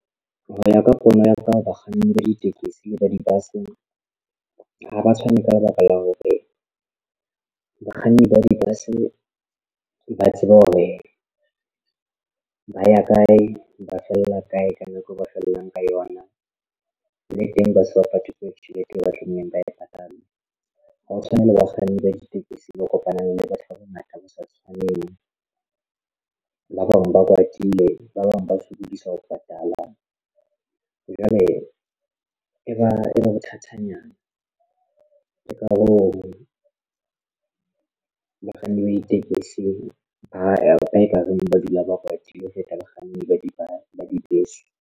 Ho ya ka pono ya ka bakganni ba ditekesi le ba di-bus ha ba tshwane ka lebaka la hore bakganni ba di-bus ba tseba hore ba ya kae, ba fella kae ka nako ba fellang ka yona le teng ba sa patale tjhelete eo ba tlameileng ba e patala. Ha o tshwane le bakganni ba ditekesi ba kopana le batho ba bangata ba sa tshwanela ba bang ba kwatile ba bang ba sokodisa ho patalang jwale e ba bothatanyana. Ke ka hoo bakganni ba ditekesi ba ba ekareng ba dula ba kwatile ho feta bakganni ba di ba dibese.